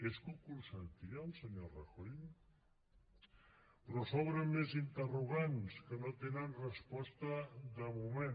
és que ho consentia el senyor rajoy però s’obren més interrogants que no tenen resposta de moment